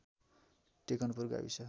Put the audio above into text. टेकनपुर गाविस